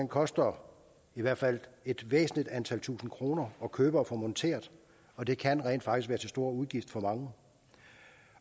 koster i hvert fald et væsentligt antal tusinde kroner at købe og få monteret og det kan rent faktisk stor udgift for mange